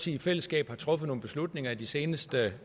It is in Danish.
i fællesskab har truffet nogle beslutninger de seneste